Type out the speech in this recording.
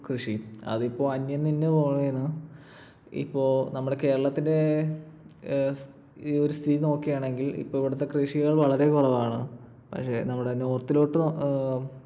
കൃഷി. അതിപ്പോൾ അന്യം നിന്ന് പോവാണ്. ഇപ്പൊ നമ്മുടെ കേരളത്തിന്റെ ഏർ ഈ ഒരു സ്‌ഥിതി നോക്കുവാണെങ്കിൽ ഇപ്പൊ ഇവിടത്തെ കൃഷികൾ വളരെ കുറവാണ്. നമ്മുടെ north ലോട്ട്